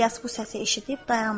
İlyas bu səsi eşidib dayandı.